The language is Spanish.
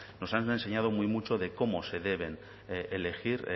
nos han enseñado muy mucho de cómo se deben elegir